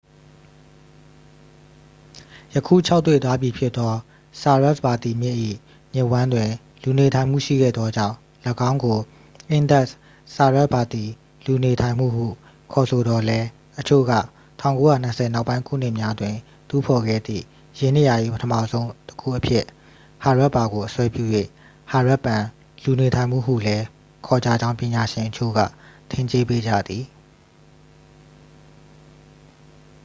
ယခုခြောက်သွေ့သွားပြီဖြစ်သော ဆာရက်စ်ဗာတီမြစ်၏ မြစ်ဝှမ်းတွင် လူနေထိုင်မှု ရှိခဲ့သောကြောင့် ၎င်းကို အင်ဒက်စ်-ဆာရက်စ်ဗာတီ လူနေထိုင်မှုဟုခေါ်ဆိုသော်လည်း အချို့က 1920 နောက်ပိုင်း ခုနှစ်များတွင် တူးဖော်ခဲ့သည့် ယင်းနေရာ၏ ပထမဆုံးတစ်ခုအဖြစ် ဟာရပ်ပါကို အစွဲပြု၍ ဟာရပ်ပန် လူနေထိုင်မှုဟုလည်း ခေါ်ကြကြောင်း ပညာရှင်အချို့က ထင်ကြေးပေးကြသည်